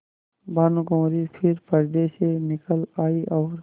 भानुकुँवरि फिर पर्दे से निकल आयी और